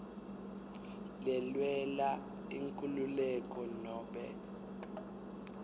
lelwela inkhululeko nobe